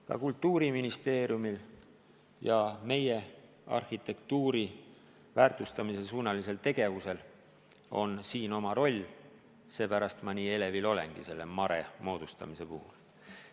Ka Kultuuriministeeriumil ja meie arhitektuuri väärtustamise suunalisel tegevusel on siin oma roll, seepärast ma nii elevil olengi selle MaRe moodustamise puhul.